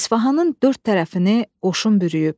İsfahanın dörd tərəfini qoşun bürüyüb.